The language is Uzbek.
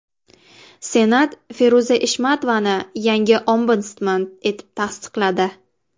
Senat Feruza Eshmatovani yangi Ombudsman etib tasdiqladi.